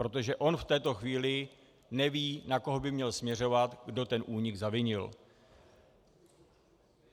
Protože on v této chvíli neví, na koho by měl směřovat, kdo ten únik zavinil.